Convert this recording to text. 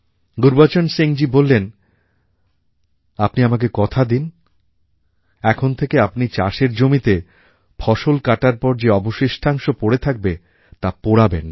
গুরুবচন সিংজী বললেন আপনি আমাকে কথা দিন এখন থেকে আপনি চাষের জমিতে ফসল কাটার পর যে অবশিষ্টাংশ পরে থাকবে তাপোড়াবেন না